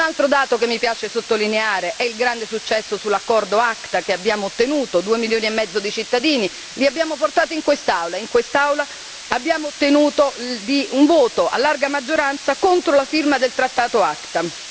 Un altro dato che mi piace sottolineare è il grande successo sull'accordo ACTA che abbiamo ottenuto due milioni e mezzo di cittadini, li abbiamo portati qui in quest'Aula, in quest'Aula abbiamo ottenuto un voto a grande maggioranza contro la firma del trattato ACTA.